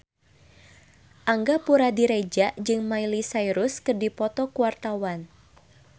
Angga Puradiredja jeung Miley Cyrus keur dipoto ku wartawan